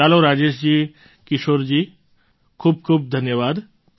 ચાલો રાજેશજી કિશોરજી ખૂબ ખૂબ ધન્યવાદ